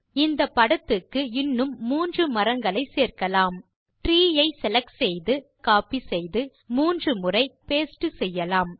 இந்த படத்துக்கு இன்னும் 3 மரங்களை சேர்க்கலாம் ட்ரீ ஐ செலக்ட் செய்து கோப்பி செய்து மூன்று முறை பாஸ்டே செய்யலாம்